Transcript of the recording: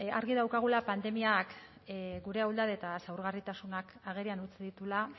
argi daukagula pandemiak gure ahuldade eta zaurgarritasunak agerian utzi dituela